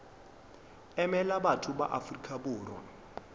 emela batho ba afrika borwa